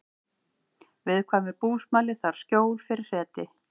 Viðkvæmur búsmali þarf skjól fyrir hreti